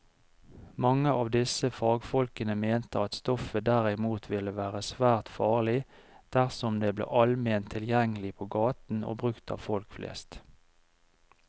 Mange av disse fagfolkene mente at stoffet derimot ville være svært farlig dersom det ble allment tilgjengelig på gaten og brukt av folk flest.